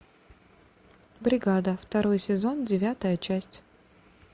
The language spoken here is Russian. бригада второй сезон девятая часть